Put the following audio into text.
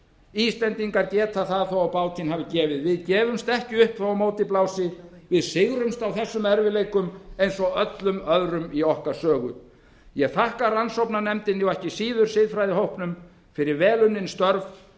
íslendingar geta það þó á bátinn hafi gefið við gefumst ekki upp þó á móti blási við sigrumst á þessum erfiðleikum eins og öllum öðrum í okkar sögu ég þakka rannsóknarnefndinni og ekki síður siðfræðihópnum fyrir vel unnin störf